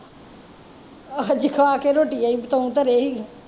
ਆਹੋ ਅਜੇ ਖਾ ਕੇ ਰੋਟੀਆ ਈ ਬਤਾਊ ਧਰੇ ਸੀ